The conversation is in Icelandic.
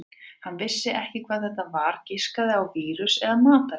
Hann vissi ekki hvað þetta væri, giskaði á vírus eða matareitrun.